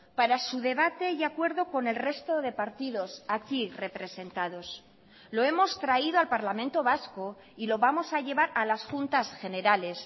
para su debate y acuerdo con el resto de partidos aquí representados lo hemos traído al parlamento vasco y lo vamos a llevar a las juntas generales